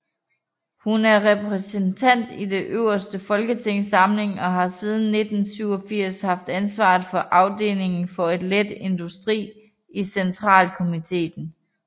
Hun er repræsentant i Den øverste folkeforsamling og har siden 1987 haft ansvaret for afdelingen for let industri i centralkomiteen